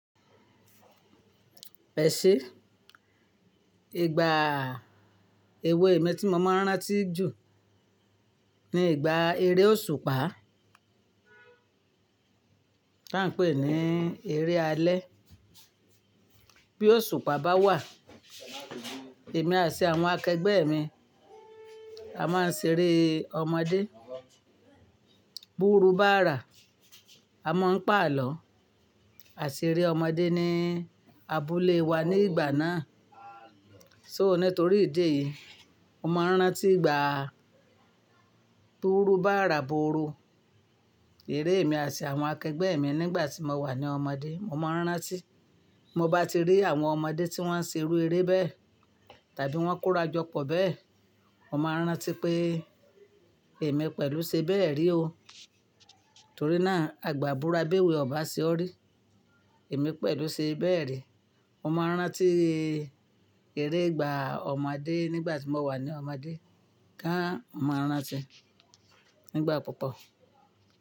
Ẹ ṣe, ìgbà ewé mi tí mo máa ń rántí jù ni ìgbà eré òṣùpá, tí wọ́n ń pè ní eré alẹ́. Bí òṣùpá bá wà, èmi àti àwọn akẹgbẹ́ mi, a máa ń ṣeré ọmọdé. Búru bá rà, a máa ń pàlọ́, àṣeré ọmọdé ni abúlé wa ní ìgbà náà. So nítorí ìdí èyí, mo máa ń rántí ìgbà búru bá rà búru, eré mi àti àwọn akẹgbẹ́ mi nígbà tí mo wà ní ọmọdé. Mo máa ń rántí, mo bá ti rí àwọn ọmọdé tí wọ́n ń ṣerú eré bẹ́ẹ̀ tàbí wọ́n ń kóra jọ pọ̀ bẹ́ẹ̀, mo máa ń rántí pé èmi pẹ̀lú ṣe bẹ́ẹ̀ rí o. Torí náà, àgbà búra béwé ọba ṣe ọ́ rí. Èmi pẹ̀lú ṣe bẹ́ẹ̀ rí. Mo máa ń rántí eré ìgbà ọmọdé nígbà tí mo wà ní ọmọdé, ká mo máa ń rántí nígbà púpọ̀.